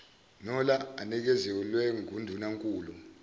nola anikezelwe ngundunankulu